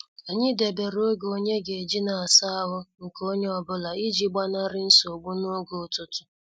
Anyị debere oge onye ga-eji asaa ahụ nke onye ọ bụla iji gbanari nsogbu n' oge ụtụtụ.